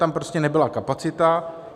Tam prostě nebyla kapacita.